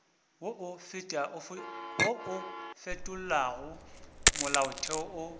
wo o fetolago molaotheo o